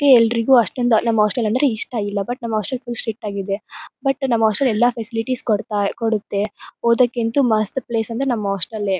ಅದೇ ಎಲ್ಲರಿಗು ಅಷ್ಟೊಂದ್ ನಮ್ ಹಾಸ್ಟೆಲ್ ಅಂದ್ರೆ ಇಷ್ಟ ಇಲ್ಲ ಬಟ್ ನಮ್ ಹಾಸ್ಟೆಲ್ ಫುಲ್ ಸ್ಟ್ರಿಕ್ಟ್ ಆಗಿ ಇದೆ ಬಟ್ ನಮ್ ಹಾಸ್ಟೆಲ್ ಎಲ್ಲ ಸ್ಪೆಷಾಲಿಟಿಸ್ ಕೊಡ್ತಾ ಕೊಡುತ್ತೆ ಓದಕಂತು ಮಸ್ತ್ ಪ್ಲೇಸ್ ಅಂದ್ರೆ ನಮ್ ಹಾಸ್ಟೆಲ್ ಎ.